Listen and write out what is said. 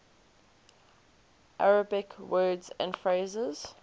arabic words and phrases